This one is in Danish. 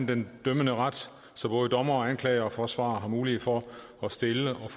den dømmende ret så både dommer anklager og forsvarer har mulighed for at stille og